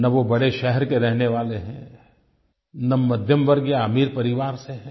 न वो बड़े शहर के रहने वाले हैं न मध्यमवर्गीय अमीर परिवार से हैं